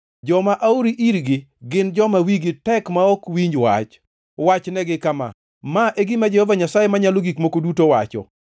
Joma aori irgi gin joma wigi tek ma ok winj wach. Wachnegi kama: ‘Ma e gima Jehova Nyasaye Manyalo Gik Moko Duto wacho.’